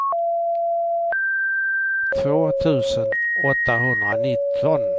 två tusen åttahundranitton